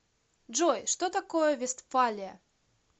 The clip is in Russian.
джой что такое вестфалия